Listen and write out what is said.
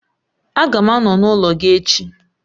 Aga m anọ n'ụlọ gị ech